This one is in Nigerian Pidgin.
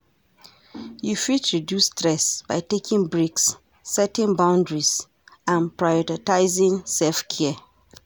You fit reduce stress by taking breaks, setting boundaries and prioritizing self-care.